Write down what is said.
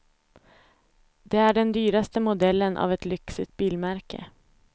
Det är den dyraste modellen av ett lyxigt bilmärke.